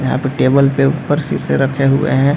यहाँ पे टेबल के ऊपर शीशे रखे हुए हैं।